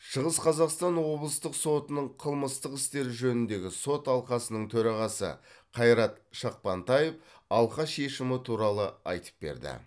шығыс қазақстан облыстық сотының қылмыстық істер жөніндегі сот алқасының төрағасы қайрат шақпантаев алқа шешімі туралы айтып берді